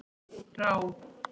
Rán